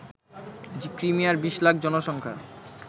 ক্রিমিয়ার ২০ লাখ জনসংখ্যার